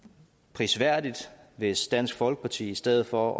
prisværdigt hvis dansk folkeparti i stedet for